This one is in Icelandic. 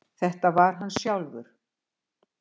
Þetta var hann sjálfur!